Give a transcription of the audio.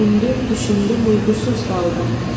Düşündüm, düşündüm, uyğusuz qaldım.